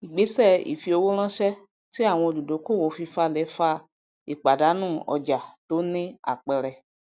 igbese ifi owó ránṣẹ tí àwọn olùdókòwò fifalẹ fa ìpàdánù ọjà tó ní àpẹẹrẹ